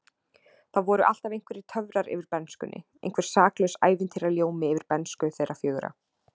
Það voru alltaf einhverjir töfrar yfir bernskunni, einhver saklaus ævintýraljómi yfir bernsku þeirra fjögurra.